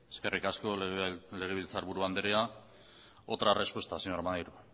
eskerrik asko legebiltzar buru andrea otra respuesta señor maneiro